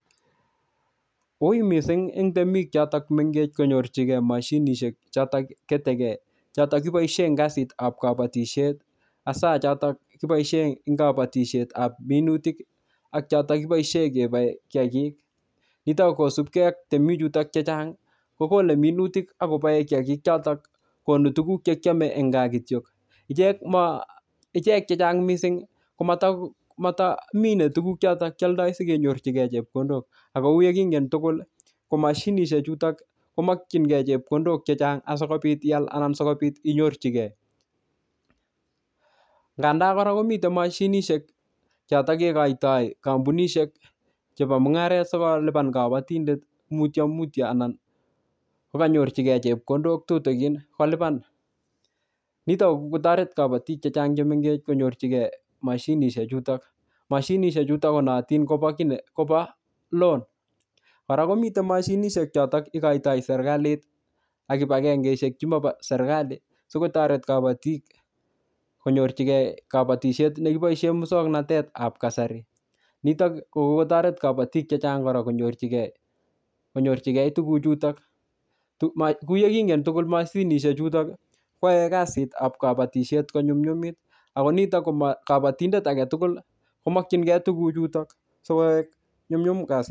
Ui mising' eng' temik chotok mengech konyorchigei mashinishek chotok ketekei chotok kiboishe eng' kasitab kabotishet hasa chotok kiboishe eng' kabatishetab minutik ak chotok kiboishe keboei kiyakik nitok kosupkei ak temik chotok chechang' kokolei minutik akoboei kiyakik chotok konu tukuk chekiomei eng' kaa kityok ichek chechang' mising' komataminei tukuk chotok kioldoi sikonyorchigei chepkondok ako uyekingen tugul ko mashinishek chutok komokchingei chepkondok chechang' asikobit ial anan sikobit inyorchigei nganda kora komitei mashinishek chotok kekoitoi kampunishek chebo mung'aret sikolupan kabatindet mutyomutyo anan kukanyorchigei chepkondok tutigin kolipan nitok kokikotoret kabotik chechang' chemengech konyorchigei mashinishe chutok mashinishek chutok konootin kobo loan kora komitei mashinishek chotok ikoitoi serikalit ak kipagengeishek chimabo serikali sikotoret kabotik kanyorchigei kabatishet nekiboishe muswong'natetab kasari nitok ko kokotoret kabotik chechang' kora konyorchinigei tukuchuto kuu ye kingen tukuk mashinishek chutok koyoei kasitab kabotishet konyumyumit ako nitok ko kabatindet ake tugul komokchingei tukuchuto sikoek nyumnyum kasit